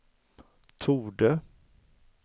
torde